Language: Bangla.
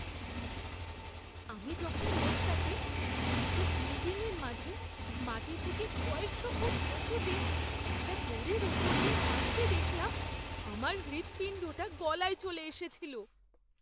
আমি যখন লোকটাকে দুটো বিল্ডিংয়ের মাঝে মাটি থেকে কয়েকশো ফুট উঁচুতে একটা দড়ির ওপর দিয়ে হাঁটতে দেখলাম আমার হৃৎপিণ্ডটা গলায় চলে এসেছিল!